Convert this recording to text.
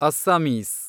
Assamese